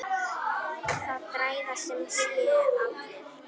Það græða sem sé allir.